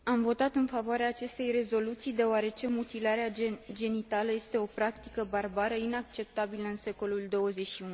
Am votat în favoarea acestei rezoluții, deoarece mutilarea genitală este o practică barbară, inacceptabilă în secolul XXI.